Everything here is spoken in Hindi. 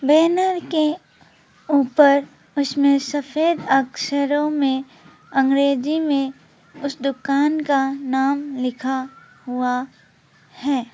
बैनर के ऊपर उसमें सफेद अक्षरों में अंग्रेजी में उस दुकान का नाम लिखा हुआ है।